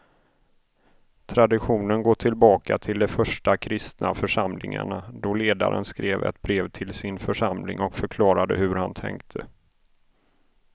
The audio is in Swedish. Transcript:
Traditionen går tillbaka till de första kristna församlingarna då ledaren skrev ett brev till sin församling och förklarade hur han tänkte.